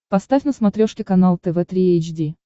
поставь на смотрешке канал тв три эйч ди